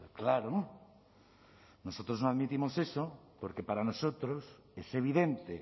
claro nosotros no admitimos eso porque para nosotros es evidente